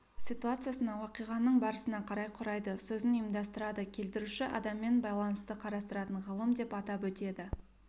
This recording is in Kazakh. ситуациясына уақиғаның барысына қарай құрайды сөзін ұйымдастырады келтіруші адаммен байланысты қарастыратын ғылым деп атап өтеді